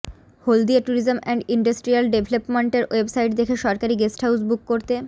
Haldia tourism and industrial ডেভেলপমেন্টের website দেখে সরকারি গেস্টহাউস বুক করতে